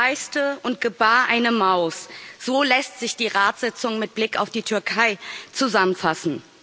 Der Berg kreißte und gebar eine Maus. So lässt sich die Ratssitzung mit Blick auf die Türkei zusammenfassen.